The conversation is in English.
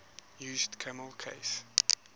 used camel case